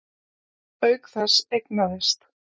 Auk þess eignaðist